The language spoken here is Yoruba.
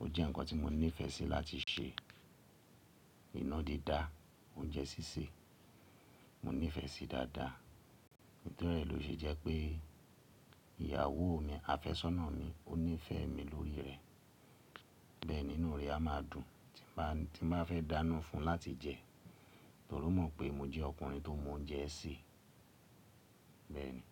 ó jẹ́ ǹkan tí mo nífẹ̀ẹ́ sí láti ṣe. Inádídá, oúnjẹ sísè, mo nífẹ̀ẹ́ síi dáadáa. Nítorí èyí ló ṣe jẹ́ pé ìyàwó mi, àfẹ́sọ́nà mi, ó nífẹ̀ẹ́ mi lórí rẹ̀. Bẹ́ẹ̀ ni ínú re á máa dùn tí n bá fẹ́ dáná fún un láti jẹ, torí ó mọ̀ pé mo jẹ́ ọkùnrin tó mọ oúnjẹ sè. Bẹ́ẹ̀ ni.